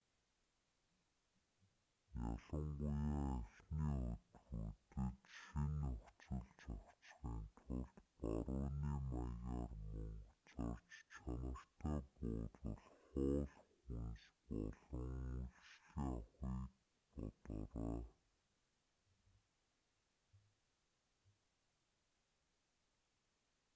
ялангуяа эхний өдрүүдэд шинэ нөхцөлд зохицохын тулд барууны маягаар мөнгө зарж чанартай буудал хоол хүнс болон үйлчилгээ авахыг бодоорой